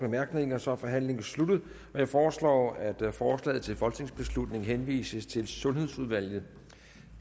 bemærkninger og så er forhandlingen sluttet jeg foreslår at forslaget til folketingsbeslutning henvises til sundhedsudvalget